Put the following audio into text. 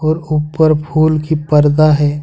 और ऊपर फूल की पर्दा है।